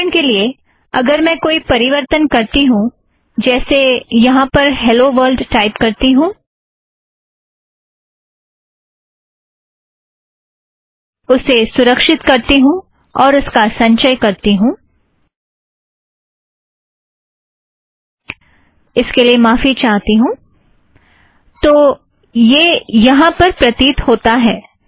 उदाहरण के लिए - अगर मैं कोई परिवर्तन करती हूँ जैसे यहाँ पर एक और हॆलो वर्लड टाइप करती हूँ उसे सुरक्षीत करती हूँ और उसका संचय करती हूँ - इसके लिए माफ़ी चाहती हूँ तो यह यहाँ पर प्रतीत होता है